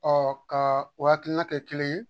ka o hakilina kɛ kelen ye